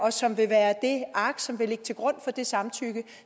og som vil være det ark som vil ligge til grund for det samtykke